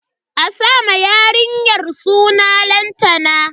A sa ma yarinyar suna Lantana.